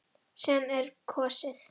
Síðan er kosið.